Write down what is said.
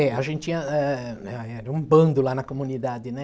É, a gente tinha, eh era um bando lá na comunidade, né?